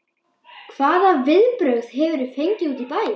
Hvaða viðbrögð hefurðu fengið úti í bæ?